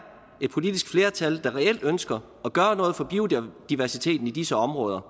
et politisk flertal der reelt ønsker at gøre noget for biodiversiteten i disse områder